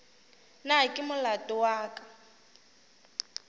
na ke molato wa ka